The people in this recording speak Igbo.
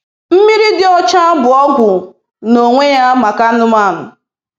Mmiri dị ọcha bụ ọgwụ n'onwe ya maka anụmanụ.